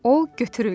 O götürüldü.